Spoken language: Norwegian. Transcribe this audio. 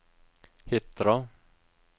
Hitra